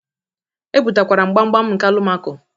Ebutakwara m gbamgbam nke Alụmako.